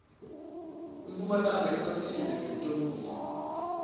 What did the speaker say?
impumalanga ihotsile ngetikumbiwa